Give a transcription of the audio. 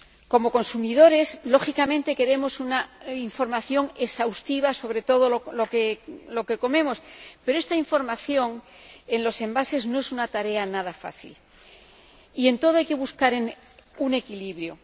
Como consumidores, lógicamente, queremos una información exhaustiva sobre todo lo que comemos, pero poner esta información en los envases no es una tarea nada fácil y en todo hay que buscar un equilibrio.